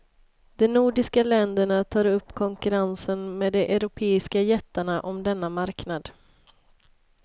De nordiska länderna tar upp konkurrensen med de europeiska jättarna om denna marknad.